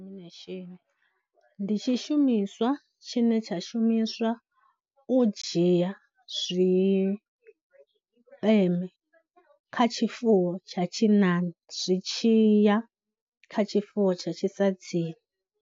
Ndi tshishumiswa tshine tsha shumiswa u dzhia zwipeme kha tshifuwo tsha tshinnani zwi tshiya kha tshifuwo tsha tshisadzini.